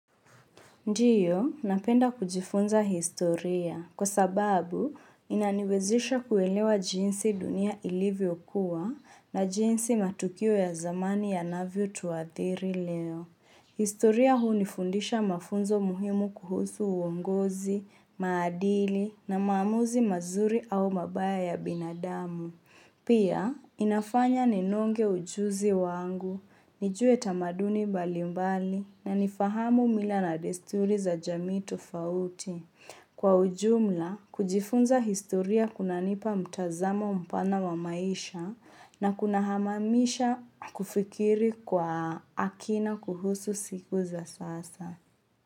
Ndiyo, napenda kujifunza historia kwa sababu inaniwezesha kuelewa jinsi dunia ilivyo kuwa na jinsi matukio ya zamani yanavyo tuathiri leo. Historia hunifundisha mafunzo muhimu kuhusu uongozi, maadili na maamuzi mazuri au mabaya ya binadamu. Pia, inafanya ninonge ujuzi wangu, nijue tamaduni mbalimbali na nifahamu mila na desturi za jami tofauti. Kwa ujumla, kujifunza historia kunanipa mtazamo mpana wa maisha na kuna hamamisha kufikiri kwa akina kuhusu siku za sasa.